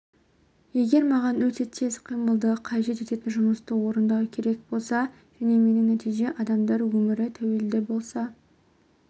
егер маған өте тез қимылды қажет ететін жұмысты орындау керек болса және менің нәтижеме адамдар өмірі тәуелді болса